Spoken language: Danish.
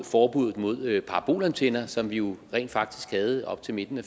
forbuddet mod parabolantenner som vi jo rent faktisk havde op til midten af